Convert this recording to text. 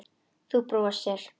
Þú brosir.